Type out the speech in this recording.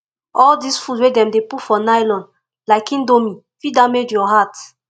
all dis food wey dem dey put for nylon like indomie fit damage your heart